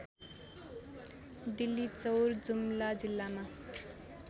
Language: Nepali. डिल्लीचौर जुम्ला जिल्लामा